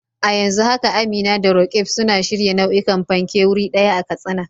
A yanzu haka Amina da Roqeeb suna shirya nau'ikan fanke wuri ɗaya a Katsina.